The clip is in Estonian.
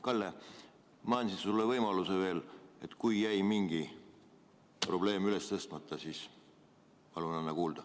Kalle, ma annan sulle veel võimaluse, et kui jäi mingi probleem üles tõstmata, siis palun anna kuulda.